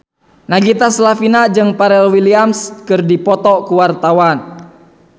Nagita Slavina jeung Pharrell Williams keur dipoto ku wartawan